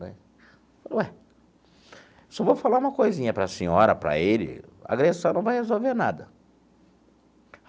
Né falei, ué, só vou falar uma coisinha para a senhora, para ele, agressão não vai resolver nada.